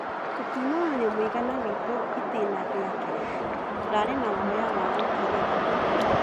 "Tũtinonania mũigana witũ itına rĩa kerĩ, tũrarĩ na guoya wa gũkĩrĩra."